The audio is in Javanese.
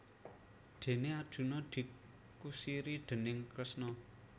Déné Arjuna dikusiri déning Kresna